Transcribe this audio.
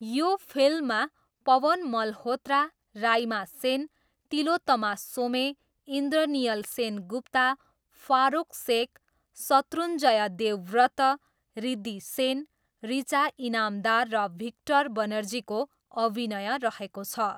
यो फिल्ममा पवन मल्होत्रा, राइमा सेन, तिलोत्तमा सोमे, इन्द्रनियल सेनगुप्ता, फारोक सेख, शत्रुञ्जय देवव्रत, रिद्धी सेन, रुचा इनामदार र भिक्टर बनर्जीको अभिनय रहेको छ।